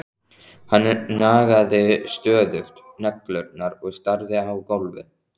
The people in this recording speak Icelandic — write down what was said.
Hann nagaði stöðugt neglurnar og starði á gólfið.